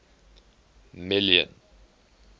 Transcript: million